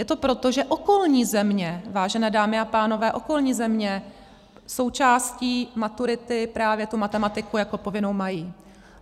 Je to proto, že okolní země, vážené dámy a pánové, okolní země součástí maturity právě tu matematiku jako povinnou mají.